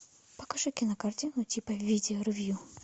покажи кинокартину типа видео ревью